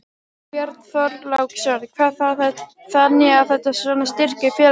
Björn Þorláksson: Þannig að þetta svona styrkir félagslífið?